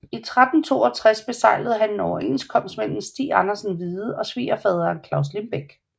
I 1362 beseglede han en overenskomst mellem Stig Andersen Hvide og svigerfaderen Claus Limbek